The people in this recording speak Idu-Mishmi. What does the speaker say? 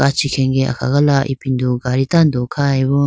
kachi khenge akhagala ipindo gadi tando khayibo.